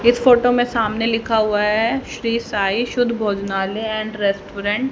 इस फोटो में सामने लिखा हुआ है श्री साईं शुद्ध भोजनालय एंड रेस्टोरेंट --